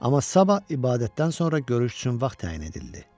Amma sabah ibadətdən sonra görüş üçün vaxt təyin edildi.